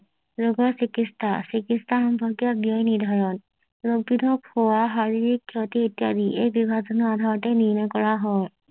ৰোগৰ চিকিৎসা চিকিৎসা সম্পৰ্কীয় দিশ নিৰ্ধাৰণ ৰোগী তোক চোৱা শাৰীৰিক ক্ষতি ইত্যাদি এই বিভাজনৰ আধাৰতে নিৰ্ণয় কৰা হয়